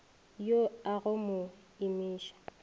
yo a go mo imiša